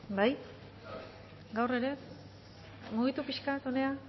bai gaur ere mugitu pixkat hona